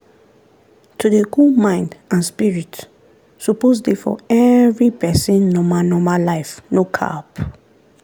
to dey cool mind and spirit suppose dey for every person normal normal life no cap.